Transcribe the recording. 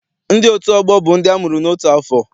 Ndị otu ọgbọ bụ ndị amụrụ n'otu afọ.